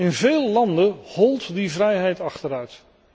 In veel landen holt die vrijheid achteruit.